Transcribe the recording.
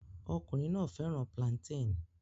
Ọkùnrin náà fẹ́ràn plantain